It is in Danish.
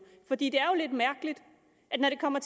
for det er jo lidt mærkeligt at når det kommer